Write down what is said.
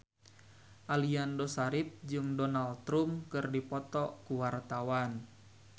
Aliando Syarif jeung Donald Trump keur dipoto ku wartawan